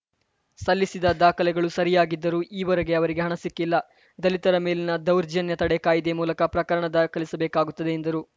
ಸಲ್ಲಿಸಿದ ದಾಖಲೆಗಳು ಸರಿಯಾಗಿದ್ದರೂ ಈವರೆಗೆ ಅವರಿಗೆ ಹಣ ಸಿಕ್ಕಿಲ್ಲ ದಲಿತರ ಮೇಲಿನ ದೌರ್ಜನ್ಯ ತಡೆ ಕಾಯಿದೆ ಮೂಲಕ ಪ್ರಕರಣ ದಾಖಲಿಸಬೇಕಾಗುತ್ತದೆ ಎಂದರು